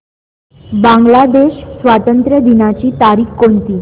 बांग्लादेश स्वातंत्र्य दिनाची तारीख कोणती